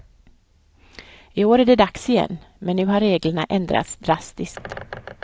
I år är det dags igen, men nu har reglerna ändrats drastiskt.